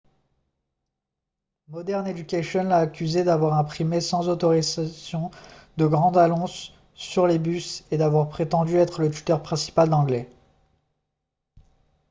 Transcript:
modern education l'a accusé d'avoir imprimé sans autorisation de grandes annonces sur les bus et d'avoir prétendu être le tuteur principal d'anglais